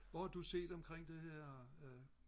Hvor har du set omkring det her øh